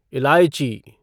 इलायची